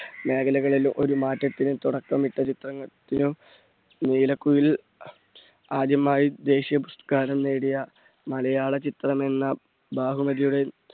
മേഖലകളിലും ഒരു മാറ്റത്തിന് തുടക്കമിട്ട ചിത്രത്തിനും. നീലക്കുയിൽ ആദ്യമായി ദേശീയ പുരസ്‌കാരം നേടിയ മലയാള ചിത്രം എന്ന